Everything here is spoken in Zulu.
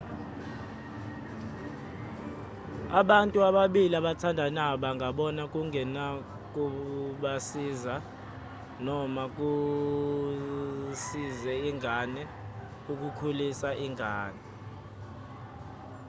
abantu ababili abathandanayo bangabona kungenakubasiza noma kusize ingane ukukhulisa ingane